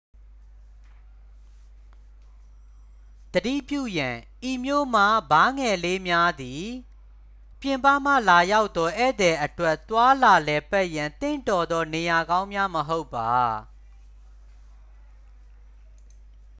သတိပြုရန် ဤမြို့မှဘားငယ်လေးများသည် ပြင်ပမှလာရောက်သော ဧည့်သည်အတွက် သွားလာလည်ပတ်ရန် သင့်တော်သော နေရာကောင်းများမဟုတ်ပါ